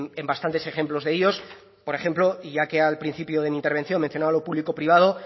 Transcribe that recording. en bastantes ejemplos de ellos por ejemplo y ya que al principio de mi intervención mencionaba lo público privado